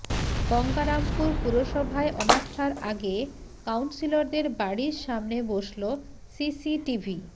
গঙ্গারামপুর পুরসভায় অনাস্থার আগে কাউন্সিলরদের বাড়ির সামনে বসল সিসিটিভি